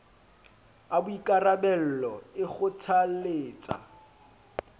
a boikarabello v e kgothalletsa